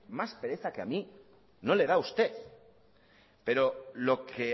más pereza que a mí no le da a usted pero lo que